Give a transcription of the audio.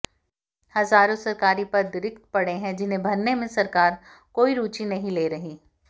हज़ारों सरकारी पद रिक्त पड़े हैं जिन्हें भरने में सरकार कोई रुचि नहीं ले रही